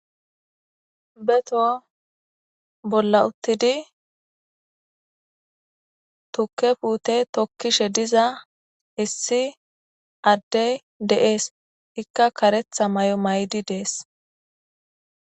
Beto bolla uttidi tukke puute tokkishe diza issi addey deees ikka karetha may'o may'di dees.